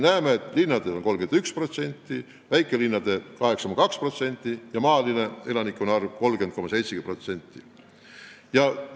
Näeme, et linnades elab 61%, väikelinnades 8,2% ja maal 30,7% elanikest.